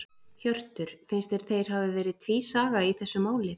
Hjörtur: Finnst þér þeir hafi verið tvísaga í þessu máli?